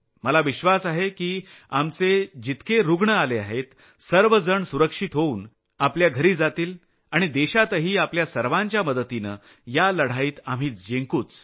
मला विश्वास आहे की आमचे जितके रूग्ण आले आहेत सर्व जण सुरक्षित होऊन आपल्या घरी जातील आणि देशातही आपल्या सर्वांच्या मदतीनं या लढाईत आपण जिंकूच